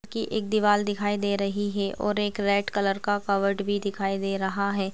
कि एक दीवाल दिखाई दे रही है और एक रेड कलर का कवर्ड भी दिखाई दे रहा है।